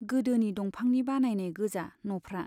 गोदोनि दंफांनि बानायनाय गोजा न'फ्रा।